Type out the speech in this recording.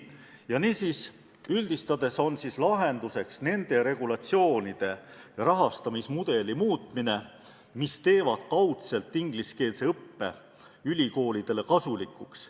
Niisiis, üldistades on lahenduseks selliste regulatsioonide ja sellise rahastamismudeli muutmine, mis kaudselt teevad ingliskeelse õppe ülikoolidele kasulikuks.